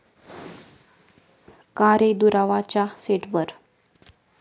का रे दुरावा'च्या सेटवर